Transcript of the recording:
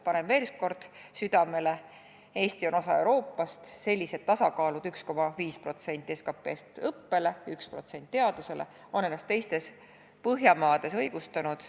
Panen veel ühe korra südamele: Eesti on osa Euroopast, selline tasakaal – 1,5% SKP-st õppele ja 1% SKP-st teadusele – on ennast teistes põhjamaades õigustanud.